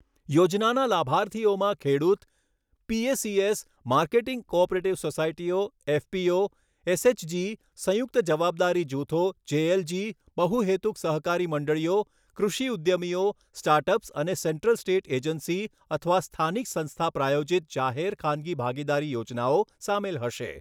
યોજનાના લાભાર્થીઓમાં ખેડૂત, પીએસીએસ, માર્કેટિંગ કોઓપરેટિવ સોસાયટીઓ, એફપીઓ, એસએચજી, સંયુક્ત જવાબદારી જૂથો જેએલજી, બહુહેતુક સહકારી મંડળીઓ, કૃષિ ઉદ્યમીઓ, સ્ટાર્ટઅપ્સ અને સેન્ટ્રલ સ્ટેટ એજન્સી અથવા સ્થાનિક સંસ્થા પ્રાયોજિત જાહેર ખાનગી ભાગીદારી યોજનાઓ સામેલ હશે.